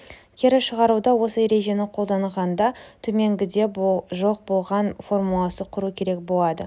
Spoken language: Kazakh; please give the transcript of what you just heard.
кері шығаруда осы ережені қолданғанда төменгіде жоқ болған формуласын құру керек болады